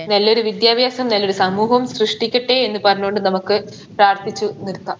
നല്ലൊരു വിദ്യാഭ്യാസം നല്ലൊരു സമൂഹവും സൃഷ്ടിക്കട്ടെ എന്ന് പറഞ്ഞുകൊണ്ട് നമുക്ക് പ്രാർത്ഥിച്ചു നിർത്താം